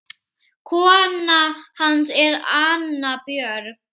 Kona hans er Anna Björg